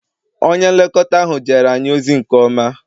Onye nlekọta ahụ jere anyị ozi nke ọma